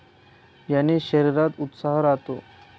याने शरीरात उत्साह राहतो.